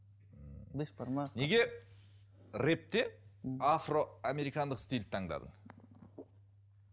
неге рэпте афро американдық стильді таңдадың